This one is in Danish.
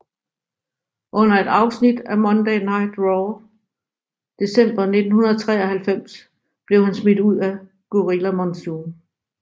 Under et afsnit af Monday Night Raw i december 1993 blev han smidt ud af Gorilla Monsoon